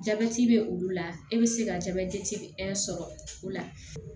Jabɛti bɛ olu la e bɛ se ka jabɛti sɔrɔ o la